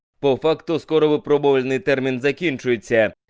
по факту скоро вы пробовали на интернет заканчивается